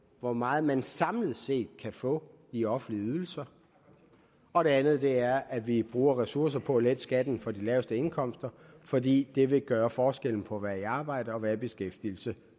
hvor meget man samlet set kan få i offentlige ydelser og det andet er at vi bruger ressourcer på at lette skatten for de laveste indkomster fordi det vil gøre forskellen på ikke at være i arbejde og at være i beskæftigelse